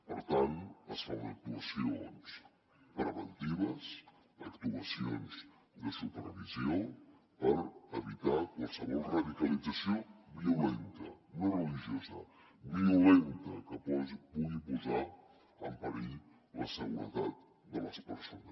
per tant es fan actuacions preventives actuacions de supervisió per evitar qualsevol radicalització violenta no religiosa violenta que pugui posar en perill la seguretat de les persones